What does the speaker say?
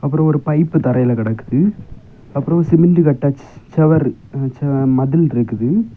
அப்புறம் ஒரு பைப் தரையில கடக்குது அப்புறம் சிமென்ட் கட்டச் செவர் அ மதில் இருக்குது.